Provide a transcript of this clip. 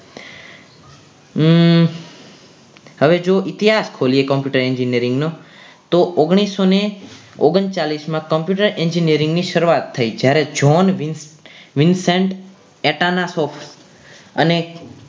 હવે જો ઇતિહાસ ખોલીએ computer engineering નો તો ઓગણીસો ઓગણચાલીસ માં Computer Engineering ની શરૂઆત થઈ જ્યારે John Wilson ટેટા ના શો અને